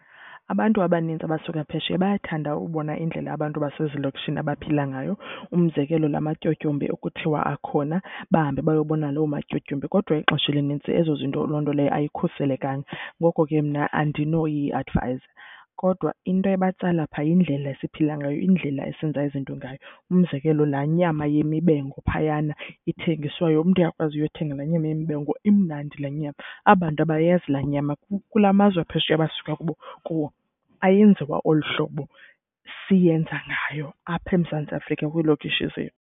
Abantu abanintsi abasuka phesheya bayathanda ubona indlela abantu abasezilokishini abaphila ngayo. Umzekelo, laa matyotyombe okuthiwa akhona bahambe bayobona loo matyotyombe. Kodwa ixesha elinintsi ezo zinto, loo nto leyo ayikhuselekanga, ngoko ke mna andinoyiadvayiza. Kodwa into ebatsala phaa yindlela esiphila ngayo, indlela esenza izinto ngayo. Umzekelo laa nyama yemibengo phayana ethengiswayo, umntu uyakwazi uyothenga laa nyama yemibengo, imnandi laa nyama. Aba bantu abayazi laa nyama, kulaa mazwe aphesheya abasuka kubo kuwo ayenziwa olu hlobo siyenza ngayo apha eMzantsi Afrika kwiilokishi izethu.